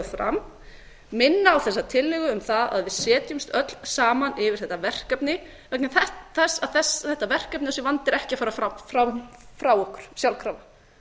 fram minna á þessa tillögu um það að við setjumst öll saman yfir þetta verkefni vegna þess að þetta verkefni og þessi vandi er ekki að fara frá okkur sjálfkrafa